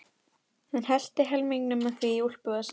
Hann hellti helmingnum af því í úlpuvasann.